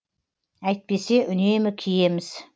әйтпесе үнемі киеміз